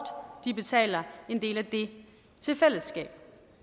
betaler en del af det til fællesskabet